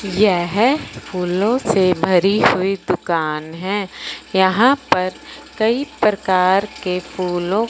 यह फूलों से भरी हुई दुकान हैं यहां पर कई प्रकार के फूलों--